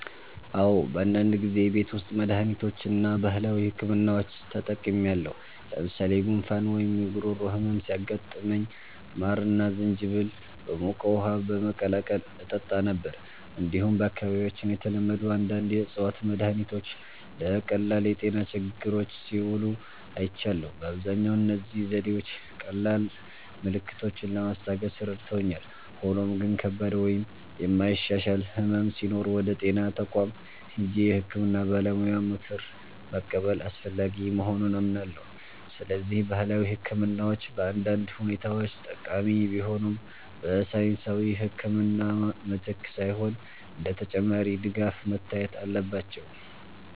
"አዎ፣ በአንዳንድ ጊዜ የቤት ውስጥ መድሃኒቶችን እና ባህላዊ ሕክምናዎችን ተጠቅሜያለሁ። ለምሳሌ ጉንፋን ወይም የጉሮሮ ህመም ሲያጋጥመኝ ማርና ዝንጅብል በሞቀ ውሃ በመቀላቀል እጠጣ ነበር። እንዲሁም በአካባቢያችን የተለመዱ አንዳንድ የእፅዋት መድሃኒቶች ለቀላል የጤና ችግሮች ሲውሉ አይቻለሁ። በአብዛኛው እነዚህ ዘዴዎች ቀላል ምልክቶችን ለማስታገስ ረድተውኛል፣ ሆኖም ግን ከባድ ወይም የማይሻሻል ሕመም ሲኖር ወደ ጤና ተቋም ሄጄ የሕክምና ባለሙያ ምክር መቀበል አስፈላጊ መሆኑን አምናለሁ። ስለዚህ ባህላዊ ሕክምናዎች በአንዳንድ ሁኔታዎች ጠቃሚ ቢሆኑም፣ በሳይንሳዊ ሕክምና ምትክ ሳይሆን እንደ ተጨማሪ ድጋፍ መታየት አለባቸው።"